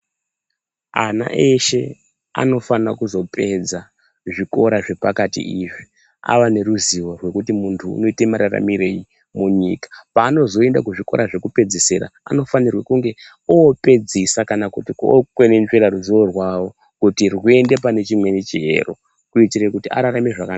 Ana eshe anofana kuzopedza zvikora zvepakati izvi ava neruzivo rwekuti muntu unoite mararamirei munyika. Paanozoenda kuzvikora zvekupedzisira anofane kunge opedzisa kana kuti okwenenzvera ruzivo rwavo kuti rwuinde pane chimweni chiero kuitire kuti ararame zvakanaka.